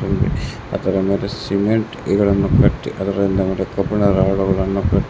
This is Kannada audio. ತುಂಬಿ ಅದರ ಮೇಲೆ ಸಿಮೆಂಟ್ ಇಟ್ಟಿಗೆಗಳನ್ನು ಕಟ್ಟಿ ಅದರಿಂದ ಮೇಲೆ ಕಬ್ಬಿಣದ ರೋಡುಗಳನ್ನು ಕ--